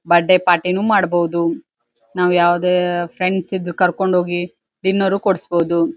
Birthday party ಮಾಡಬಹುದು ನಾವ್ ಯಾವದೇ ಫ್ರೆಂಡ್ಸ್ ಇದ್ದು ಕರಕೊಂಡ ಹೋಗಿ ಡಿನ್ನರ್ ಕೊಡ್ಸಬಹುದು.